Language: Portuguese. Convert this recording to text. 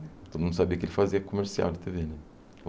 Todo mundo sabia que ele fazia comercial de Tê Vê, né?